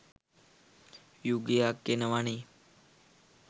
යුගයක් එනවනේ.